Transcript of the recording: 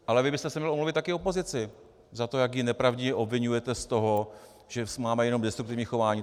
Ale vy byste se měl omluvit také opozici za to, jak ji nepravdivě obviňujete z toho, že máme jenom destruktivní chování.